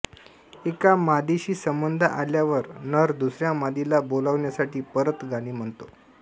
एका मादीशी संबंध आल्यावर नर दुसऱ्या मादीला बोलाविण्यासाठी परत गाणी म्हणतो